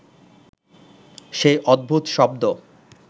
সেই অদ্ভুত শব্দ